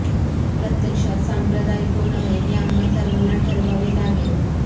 प्रत्यक्षात सांप्रदायिक कोण आहे हे आम्हा सर्वांना ठरवावे लागेल